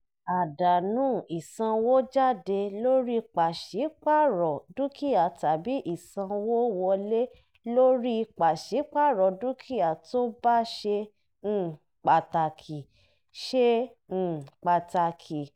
àdánù ìsanwójáde lórí pàṣípàrọ̀ dúkìá tàbí ìsanwówọlé lórí pàṣípàrọ̀ dúkìá tó bá ṣe um pàtàkì. ṣe um pàtàkì.